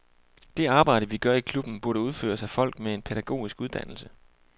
Det arbejde, vi gør i klubben, burde udføres af folk med en pædagogisk uddannelse.